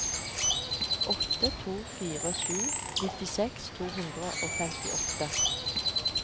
åtte to fire sju nittiseks to hundre og femtiåtte